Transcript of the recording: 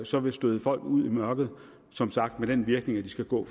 så vil støde folk ud i mørket som sagt med den virkning at de skal gå